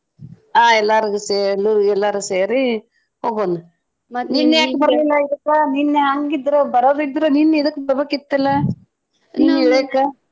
ಆ ಎಲ್ಲಾರ್ಗು ಸೇರು ಎಲ್ಲಾರು ಸೇರಿ ಹೋಗೋನು. ನಿನ್ನೆ ಯಾಕ್ ಬರ್ಲಿಲ್ಲ ಇದಕ್ಕ ನಿನ್ನೆ ಹಂಗ್ ಇದ್ರು ಬರೋದಿದ್ರು ನಿನ್ನೆ ಇದಕ್ಕ್ ಬರ್ಬೇಕಿತ್ತಲ್ಲ .